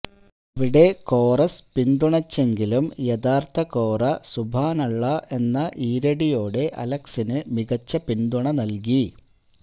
അവിടെ കോറസ് പിന്തുണച്ചെങ്കിലും യഥാർഥകോറ സുബാനുഅള്ള എന്ന ഈരടിയോടെ അലക്സിനു മികച്ച പിന്തുണ നൽകി